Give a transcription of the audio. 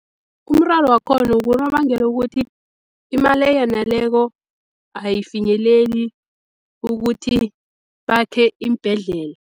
Umraro wakhona kunobangela ukuthi imali eyaneleko, ayifinyeleli ukuthi bakhe iimbhedlela.